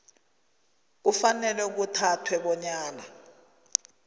kufanele kuthathwe bonyana